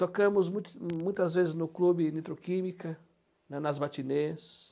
Tocamos muita muitas vezes no clube Nitroquímica, lá nas matinês.